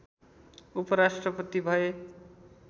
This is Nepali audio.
उपराष्ट्रपति भए